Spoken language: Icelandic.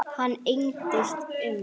Hann engdist um.